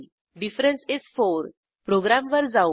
difference इस 4 प्रोग्रॅमवर जाऊ